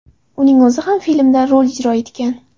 Uning o‘zi ham filmda rol ijro etgan.